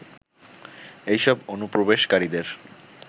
এইসব অনুপ্রবেশকারীদের